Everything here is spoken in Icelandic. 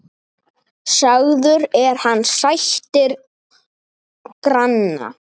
Sagður er hann sættir granna.